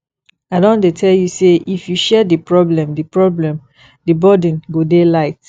i don tell you sey if you share di problem di problem the burden go dey light